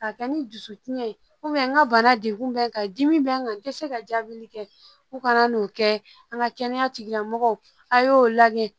Ka kɛ ni dusukun ye n ka bana degun bɛ n kan dimi bɛ n kan n tɛ se ka jaabili kɛ ko kana n'o kɛ an ka kɛnɛya tigilamɔgɔw a y'o lajɛ